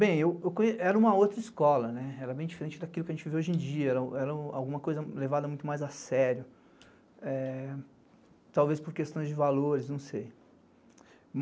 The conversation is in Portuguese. Bem, era uma outra escola, era bem diferente daquilo que a gente vive hoje em dia, era alguma coisa levada muito mais a sério, talvez por questões de valores, não sei.